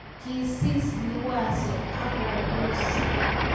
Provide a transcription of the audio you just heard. Kisis Liwazo akobus